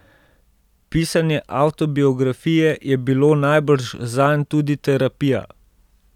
Pisanje avtobiografije je bilo najbrž zanj tudi terapija.